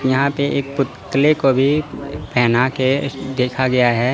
यहां पे एक पुत्तले को भी पहना के देखा गया है।